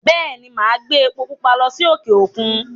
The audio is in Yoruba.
Bẹ́è ni, màá gbé epo púpa lọ sí òkè-òkun.